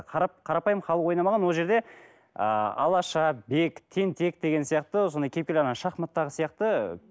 қарапайым халық ойнамаған ол жерде ыыы алаша бек тентек деген сияқты сондай кепіл ана шахматтағы сияқты ы